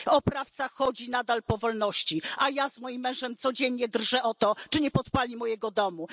Oprawca chodzi nadal na wolności, a ja z moim mężem codziennie drżymy o to, czy nie podpali naszego domu.